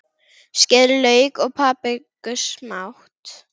Skerið lauk og papriku smátt.